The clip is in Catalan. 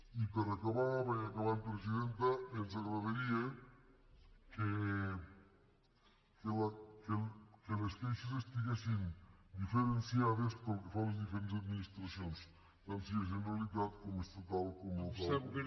i per acabar vaig acabant presidenta ens agradaria que les queixes estiguessin diferenciades pel que fa a les diferents administracions tant si és generalitat com estatal com local